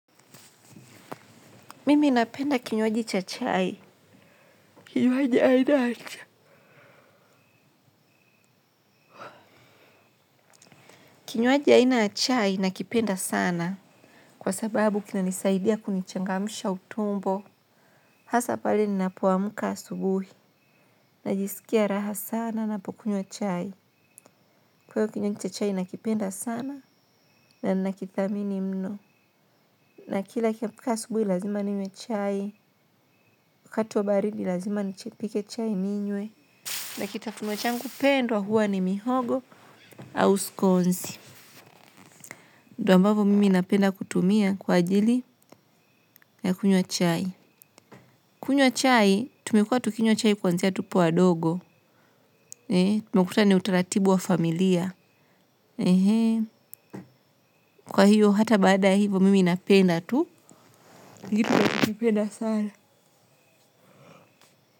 Mimi napenda kinywaji cha chai. Kinywaji aina ya cha. Kinywaji aina chai nakipenda sana. Kwa sababu kinanisaidia kunichangamsha utumbo. Hasa pale ninapoamka asubuhi. Najisikia raha sana napokunywa chai. Kwa hiyo kinywaji cha chai nakipenda sana na nakithamini mno. Na kila nikiamka asubuhi lazima ninywe chai. Wakati wa baridi lazima nipike chai ninywe. Na kitafuniwa changu pendwa huwa ni mihogo au scones. Ndio ambavyo mimi napenda kutumia kwa ajili ya kunywa chai. Kunywa chai, tumekua tukinywa chai kuanzia tupo wadogo. Tumekuta ni utaratibu wa familia. Kwa hiyo, hata baada ya hivo mimi napenda tu. Kitu nachokipenda sana.